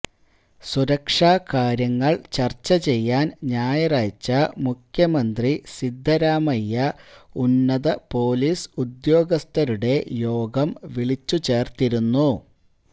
സുരക്ഷാകാര്യങ്ങള് ചര്ച്ചചെയ്യാന് ഞായറാഴ്ച മുഖ്യമന്ത്രി സിദ്ധരാമയ്യ ഉന്നത പൊലീസ് ഉദ്യോഗസ്ഥരുടെ യോഗം വിളിച്ചുചേര്ത്തിരുന്നു